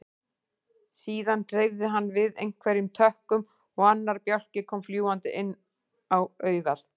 Síðan hreyfði hann við einhverjum tökkum og annar bjálki kom fljúgandi inn á augað.